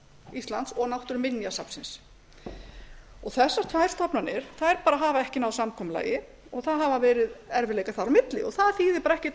íslands og náttúruminjasafnsins þessar tvær stofnanir þær bara hafa ekki náð samkomulagi það hafa verið erfiðleikar þar á milli það þýðir bara